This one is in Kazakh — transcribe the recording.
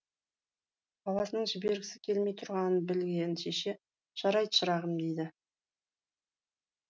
баласының жібергісі келмей тұрғанын білген шеше жарайды шырағым дейді